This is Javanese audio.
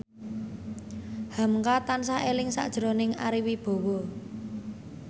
hamka tansah eling sakjroning Ari Wibowo